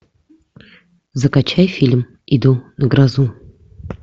закачай фильм иду на грозу